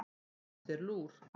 Fáðu þér lúr.